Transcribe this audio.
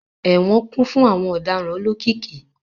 Ẹwọn kun fun awọn ọdaràn olokiki